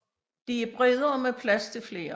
De er bredere med plads til flere